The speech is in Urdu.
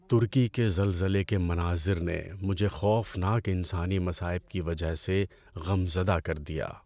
ترکی کے زلزلے کے مناظر نے مجھے خوفناک انسانی مصائب کی وجہ سے غم زدہ کر دیا۔